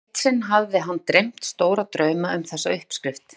Eitt sinn hafði hann dreymt stóra drauma um þessa uppskrift.